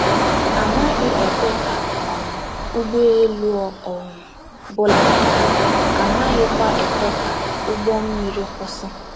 A naghị ekwe ka um ụgbọelu ọ um bụla daa, a naghịkwa ekwe ka ụgbọ mmiri kwụsị.